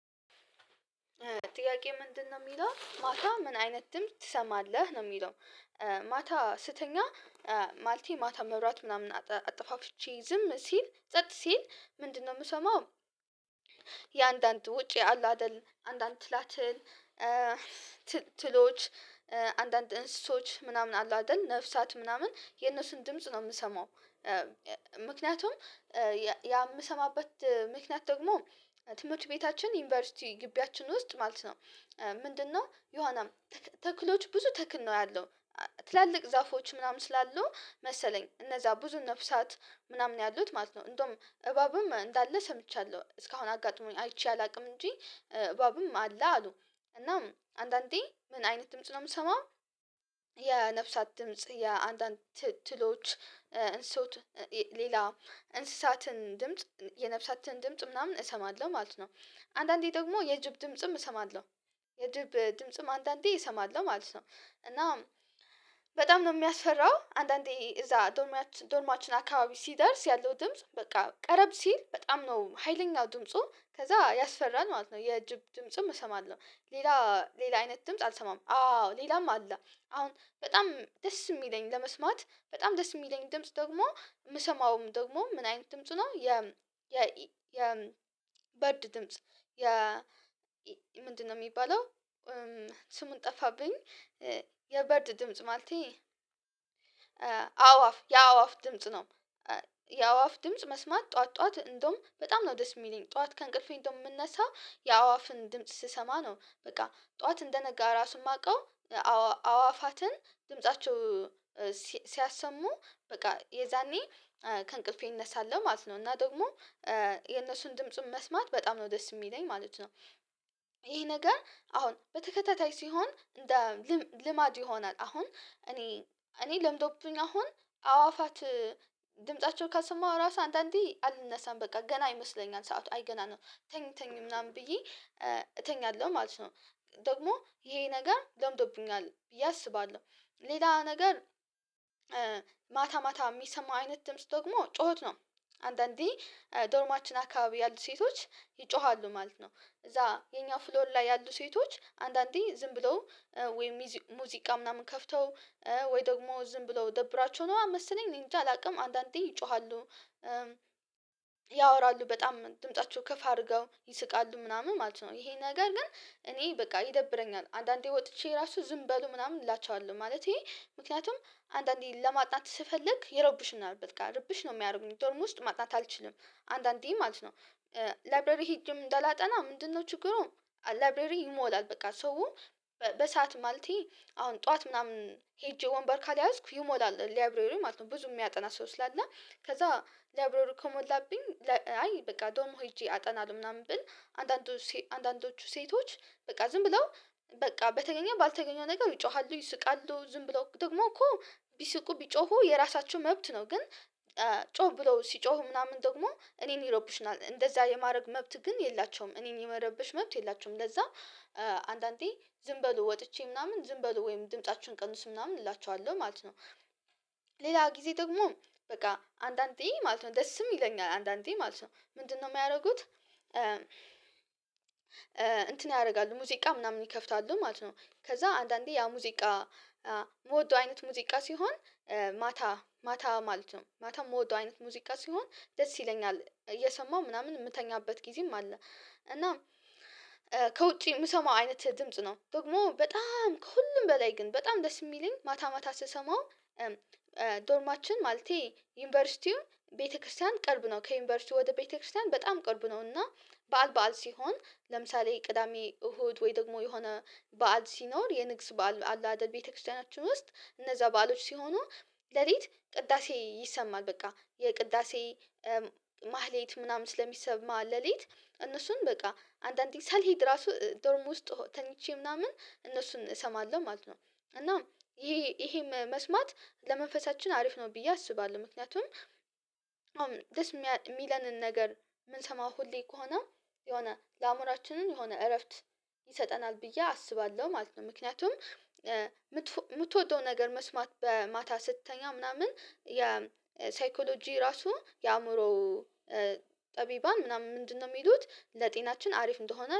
ጥያቄ ምንድነው ሚለው ማታ ምን አይነት ድምጽ ትሰማለህ ነው ሚለው ማታ ስተኛ ማለቴ ማታ መብራት ምናምን አጠፋፍቼ ዝም ሲል ጸጥ ሲል ምንድነው ምሰማው? የአንዳንድ ውጪ አለ አይደል አንዳንድ ትላትን ትሎች አንዳንድ እንስሳዎች ምናምን አሉ አይደል ነፍሳት ምናምን የነሱን ድምጽ ነው ምሰማው። ምክንያቱም የምሰማበት ምክንያት ደግሞ ትምህርት ቤታችን ዩኒቨርሲቲ ግቢያችን ውስጥ ማለት ነው። ምንድነው የሆነ ተክሎች ብዙ ተክል ነው ያለው። ትላልቅ ዛፎች ምናምን ስላሉ መሰለኝ እነዛ ብዙ ነፍሳት ምናምን ያሉት ማለት ነው እንደውም እባብም እንዳለ ሰምቻለሁ እስካሁን አጋጥሞኝ አይቼ አላውቅም እንጂ። እባብም አለ አሉ እናም አንድ አንዴ ምን አይነት ድምጽ ነው ምሰማው? የነፍሳት ድምጽ የአንዳንድ ትሎች እንስሳዎች ሌላ እንስሳትን ድምጽ የነፍሳትን ድምጽ ምናምን እሰማለሁ ማለት ነው። አንድ አንዴ ደግሞ የጅብ ድምጽም እሰማለሁ። የጅብ ድምጽም አንዳንዴ እሰማለሁ ማለት ነው። እና በጣም ነው ሚያስፈራው አንድ አንዴ እዛ ዶርማችን ዶርማችን አካባቢ ሲደርስ ያለው ድምጽ በቃ ቀረብ ሲል በጣም ነው ሀይለኛ ድምፁ ከዛ ያስፈራል ማለት ነው። የጅብ ድምጽም እሰማለሁ ሌላ ሌላ አይነት ድምጽ አልሰማም። አዎ ሌላም አለ አሁን በጣም ደስ የሚለኝ ለመስማት በጣም ደስ የሚለኝ ድምጽ ደግሞ ምሰማውም ደግሞ ምን አይነት ድምጽ ነው የ የ የ ባርድ ድምጽ የ ምንድነው ሚባለው? ስሙን ጠፋብኝ። የበርድ ድምጽ ማለቴ አዋፍ የአዋፍ ድምጽ ነው። የአዋፍ ድምጽ መስማት ጠዋት ጠዋት እንደውም በጣም ነው ዲስ ሚለኝ ጥዋት ከእንቅልፌ እንደም ምነሳው የአዋፍን ድምጽ ስሰማ ነው በቃ ጠዋት እንደነጋ ራሱ የማውቀው። አዋፋትን ድምፃቸው ሲያሰሙ በቃ የዛኔ ከእንቅልፌ እነሳለሁ ማለት ነው። እና ደግሞ የነሱን ድምጹን መስማት በጣም ነው ደስ የሚለኝ ማለት ነው። ይሄ ነገር አሁን በተከታታይ ሲሆን። ልማድ ይሆናል አሁን እኔ እኔ ለምዶብኝ አሁን አዋፋት ድምፃቸው ካልሰማው ራሱ አንድ አንዴ አልነሳም በቃ ገና ይመስለኛል ሰዓቱ አይ ገና ነው ተኝ ተኝ ምናምን ብዬ እተኛለሁ ማለት ነው። ደግሞ ይሄ ነገር ለምዶብኛል ብዬ አስባለሁ። ሌላ ነገር ማታ ማታ ሚሰማ አይነት ድምጽ ደግመው ጩኸት ነው። አንድ አንዴ ዶርማችን አካባቢ ያሉት ሴቶች ይጮሃሉ ማለት ነው እዛ የኛ ፍሎር ላይ ያሉ ሴቶች አንድ አንዴ ዝም ብለው ወይም ሙዚቃ ምናምን ከፍተው ወይ ደግሞ ዝም ብለው ደብሯቸው ነው መሰለኝ እንጃ አላውቅም አንዳንዴ ይጮሃሉ። ያወራሉ በጣም ድምፃቸው ከፍ አድርገው ይስቃሉ ምናምን ማለት ነው። ይሄ ነገር ግን እኔ በቃ ይደብረኛል አንዳንዴ ወጥቼ ራሱ ዝም በሉ ምናምን እላቸዋለሁ ማለቴ ምክንያቱም አንዳንዴ ለማጥናት ስፈልግ ይረብሹናል ርብሽ ነው ሚያርጉኝ ዶርም ውስጥ ማጥነት አልችልም። አንድ አንዴ ማለት ነው ላይብሬሪ ሄጄም እንዳላጠና ምንድነው ችግሩ? ላብሬሪ ይሞላል በቃ ሰው በሰአት ማለቴ አሁን ጠዋት ምናምን ሄጄ ወንበር ካልያዝኩ ይሞላል ለይብሬሪ ማለት ነው። ብዙ ሚያጠና ሰው ስላለ ከዛ ለይብሬሪው ከሞላብኝ አይ በቃ ዶርም ሄጄ አጠናለሁ። ምናምን ብል አንድ አንድ አንዳንዶቹ ሴቶች በቃ ዝም ብለው በቃ በተገኘው ባልተገኘው ነገር ይጮሃሉ ይስቃሉ ዝም ብለው ደግሞ እኮ ቢስቁ ቢጮሁ የራሳቸው መብት ነው ግን። ጮክ ብለው ሲጮሁ ምናምን ደግሞ እኔን ይረብሹነል እንደዛ የማድረግ መብት ግን የላቸውም እኔን የመረበሽ መብት የላቸውም። ለዛ አንድዳ አንዴ ዝም በሉ ወጥቼ ምናምን ዝም በሉ ወይም ድምፃችሁን ቀንሱ ምናምን እላቸዋለሁ ማለት ነው። ሌላ ጊዜ ደግሞ በቃ አንድ አንዴ ማለት ነው ደስም ይለኛል አንድ አንዴ ማለት ነው ምንድነው ሚያረጉት? እንትን ያረጋሉ ሙዚቃ ምናምን ይከፍታሉ ማለት ነው። ከዛ አንዳንዴ ያ ሙዚቃ ምወደው አይነት ሙዚቃ ሲሆን ማታ ማታ ማለት ነው ማታ ምወደው አይነት ሙዚቃ ሲሆን ደስ ይለኛል እየሰማሁ ምናምን ምተኛበት ጊዜም አለ። እና ከውጪ ምሰማው አይነት ድምጽ ነው ደግሞ በጣም ከሁሉም በላይ ግን በጣም ደስ የሚለኝ ማታ ማታ ስሰማው። ዶርማችን ማለቴ ዩኒቨርሲቲው ቤተክርስቲያን ቅርብ ነው ከዩኒቨርሲቲው ወደ ቤተክርስቲያን በጣም ቅርብ ነው። እና በዓል በዓል ሲሆን ለምሳሌ ቅዳሜ እሁድ ወይ ደግሞ የሆነ በዓል ሲኖር የንግስ በዓል አላ አደል ቤተክርስቲያናችን ውስጥ እነዛ በዓሎች ሲሆኑ ለሊት ቅዳሴ ይሰማል። በቃ የቅዳሴ ማህሌት ምናምን ስለሚሰማ ለሊት እነሱን በቃ አንድ አንዴ ሳልሄድ ራሱ ዶርም ውስጥ ተኝቼ ምናምን እነሱን እሰማለሁ ማለት ነው። እና ይሄ መስማት ለመንፈሳችን አሪፍ ነው ብዬ አስባለሁ ምክንያቱም። ደስ ሚለንን ነገር ምንሰማው ሁሌ ከሆነ የሆነ ለአዕምሮአችንም የሆነ እረፍት ይሰጠናል ብዬ አስባለሁ ማለት ነው። ምክንያቱም ምትወደው ነገር መስማት በማታ ስትተኛ ምናምን የሳይኮሎጂ ራሱ የአእምሮ ጠቢባን ምናምን ምንድነው ሚሉት ለጤናችን አሪፍ እንደሆነ